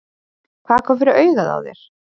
Hvað kom fyrir augað á þér?